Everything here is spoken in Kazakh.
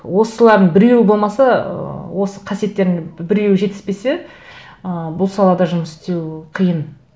осылардың біреуі болмаса ыыы осы қасиеттердің біреуі жетіспесе ы бұл салада жұмыс істеу қиын